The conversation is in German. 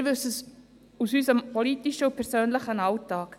Wir wissen es aus unserem politischen und persönlichen Alltag: